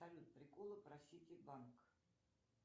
салют приколы про ситибанк